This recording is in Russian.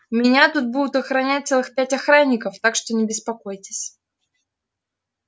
меня тут будут охранять целых пять охранников так что не беспокойтесь